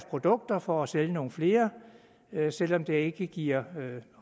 produkterne for at sælge nogle flere selv om det tilsyneladende ikke giver